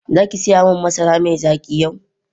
Zaki saya min masara mai zaki yau.